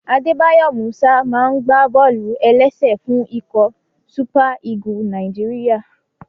Adébáyọ̀ Músà máa n gbá bọ́ọ̀lù-ẹlẹ́sẹ̀ fún ikọ̀ súpà Ígù Nàìjíríyà